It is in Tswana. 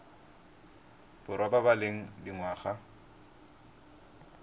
borwa ba ba leng dingwaga